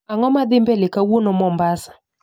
Ang'o madhii mbele kawuono mombasa